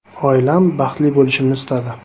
Oilam baxtli bo‘lishimni istadi.